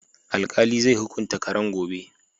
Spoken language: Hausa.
Alkali zai hukunta karan gobe